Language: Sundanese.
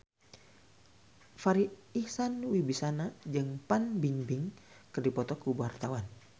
Farri Icksan Wibisana jeung Fan Bingbing keur dipoto ku wartawan